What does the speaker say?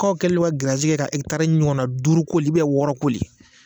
K'w kɛlen don ka giriyazi ka ɛkitari taara ɲɔgɔnna duuru koli ubiyɛn wɔɔrɔ koli